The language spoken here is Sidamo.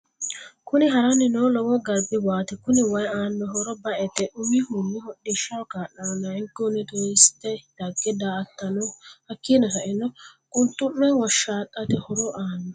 Kunni haarani noo lowo garibu waati kuni wayi aano horro ba'ete umihuni hodhishshaho kaalano layikihuni turisite dage da'atano hakiino sa'eena quluxume woshaxate horro aano.